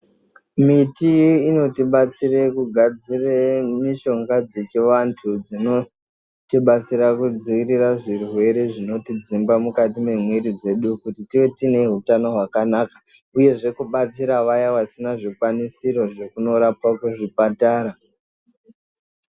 Miti inotibatsira kugadzire mishonga dzechiantu dzinotibatsira kidzivirira zvirwere zvinotidzimba mukati mwemiri dzedu kuti tibve tine hutano hwakanaka uyezve kubatsira vaya vasina zvikwanisiro zvekunorapwa kuzvipatara.